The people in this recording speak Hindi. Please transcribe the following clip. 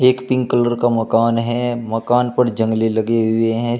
एक पिंक कलर का मकान है मकान पर जंगले लगे हुए हैं।